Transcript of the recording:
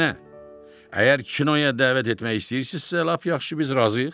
Əksinə, əgər kinoya dəvət etmək istəyirsinizsə, lap yaxşı, biz razıyıq.